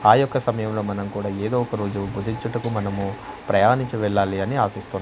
ఆ యొక్క సమయంలో మనం కూడా ఏదో ఒక రోజు బుజించుటకు మనము ప్రయాణించి వెళ్ళాలి అని ఆశిస్తు--